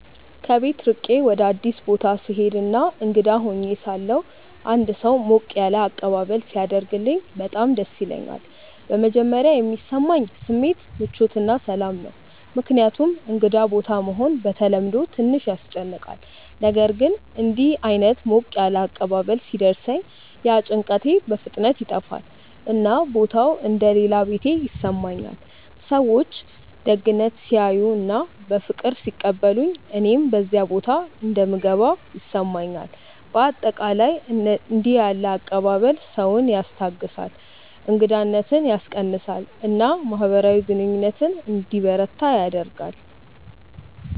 ከቤት ርቄ ወደ አዲስ ቦታ ስሄድ እና እንግዳ ሆኜ ሳለሁ አንድ ሰው ሞቅ ያለ አቀባበል ሲያደርግልኝ በጣም ደስ ይለኛል። በመጀመሪያ የሚሰማኝ ስሜት ምቾት እና ሰላም ነው፣ ምክንያቱም እንግዳ ቦታ መሆን በተለምዶ ትንሽ ያስጨንቃል። ነገር ግን እንዲህ ዓይነት ሞቅ ያለ አቀባበል ሲደርሰኝ ያ ጭንቀት በፍጥነት ይጠፋል፣ እና ቦታው እንደ “ ሌላ ቤቴ ” ይሰማኛል። ሰዎች ደግነት ሲያሳዩ እና በፍቅር ሲቀበሉኝ እኔም በዚያ ቦታ እንደምገባ ይሰማኛል። በአጠቃላይ እንዲህ ያለ አቀባበል ሰውን ያስታግሳል፣ እንግዳነትን ያስቀንሳል እና ማህበራዊ ግንኙነት እንዲበረታ ያደርጋል።